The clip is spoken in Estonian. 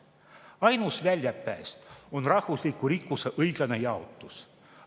Ainus väljapääs on rahvusliku rikkuse õiglane jaotus.